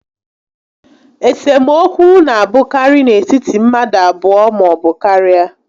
Esemokwu na a bụkarị n'etiti mmadụ abụọ maọbụ karịa